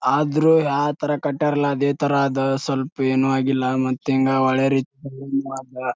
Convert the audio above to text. ಆದ್ರೂ ಯಾ ತರ ಕತ್ಯರಲ್ಲ ಸ್ವಲ್ಪ ಏನು ಆಗಿಲ್ಲ ಮತ್ ಹಿಂಗ ಒಳ್ಳೆ ರೇತಿ--